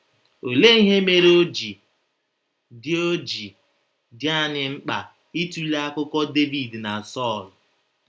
Olee ihe mere o ji dị o ji dị anyị mkpa ịtụle akụkọ Devid na Sọl?